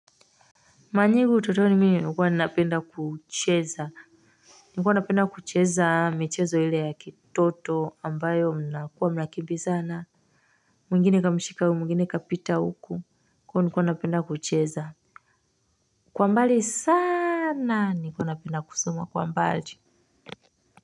Mara nyingi utotoni mimi nikuwa napenda kucheza. Nikuwa ninapenda kucheza michezo ile ya kitoto ambayo mnakuwa mnakimbizana. Mwengine kamishika huyu mwingine kapita huku kwa hiyo nilikuwa ninapenda kucheza. Kwa mbali sana nikuwa ninapenda kusomwa kwa mbali.